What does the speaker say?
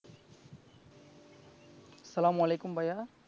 আস্সালামু আলাইকুম ভাইয়া